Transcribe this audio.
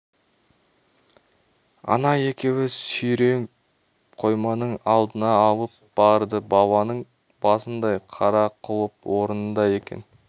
ана екеуі оны сүйреп қойманың алдына алып барды баланың басындай қара құлып орнында екен